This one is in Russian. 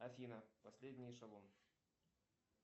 афина последний эшелон